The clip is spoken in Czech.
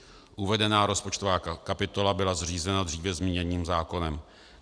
Uvedená rozpočtová kapitola byla zřízena dříve zmíněným zákonem.